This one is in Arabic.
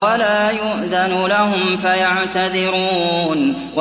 وَلَا يُؤْذَنُ لَهُمْ فَيَعْتَذِرُونَ